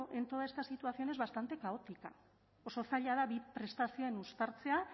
en toda esta situación es bastante caótica oso zaila da bi prestazioen uztartzea